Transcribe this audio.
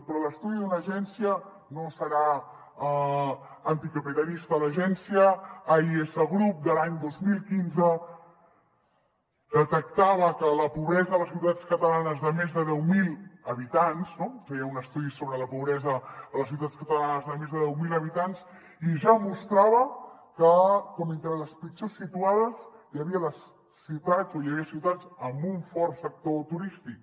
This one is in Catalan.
però l’estudi d’una agència no serà anticapitalista l’agència ais group de l’any dos mil quinze detectava que la pobresa de les ciutats catalanes de més de deu mil habitants no feia un estudi sobre la pobresa a les ciutats catalanes de més de deu mil habitants i ja mostrava com entre les pitjors situades hi havia les ciutats o hi havia ciutats amb un fort sector turístic